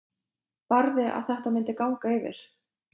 Barði að þetta myndi ganga yfir.